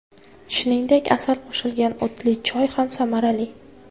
Shuningdek, asal qo‘shilgan o‘tli choy ham samarali.